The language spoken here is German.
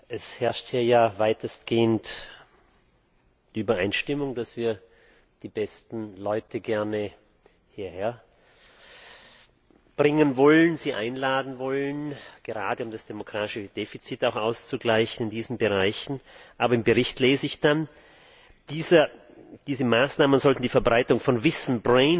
Es herrscht hier ja weitestgehend Übereinstimmung, dass wir gerne die besten Leute hier herbringen wollen, sie einladen wollen, gerade um das demografische Defizit auszugleichen in diesen Bereichen, aber im Bericht lese ich dann, diese Maßnahmen sollten die Verbreitung von Wissen